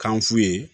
Kan f'u ye